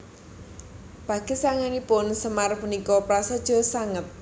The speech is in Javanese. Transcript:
Pagesanganipun Semar punika prasaja sanget